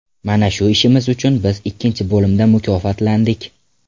Mana shu ishimiz uchun biz ikkinchi bo‘limda mukofotlandik.